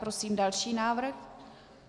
Prosím další návrh.